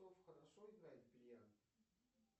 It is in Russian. хорошо играет в бильярд